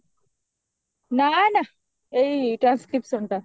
ନାଁ ନାଁ ଏଇ transcription ଟା